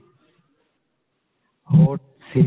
ਹੋਰ series